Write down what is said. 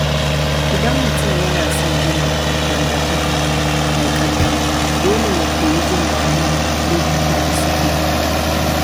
Idan mutum yana son gina dangantaka mai ƙarfi, dole ya koyi jin daɗin lokutan da suke tare.